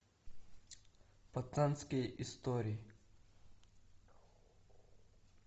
пацанские истории